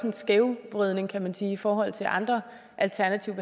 en skævvridning kan man sige i forhold til andre alternative